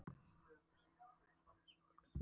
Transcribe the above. Núna segir hún frá heimsóknum þessa fólks.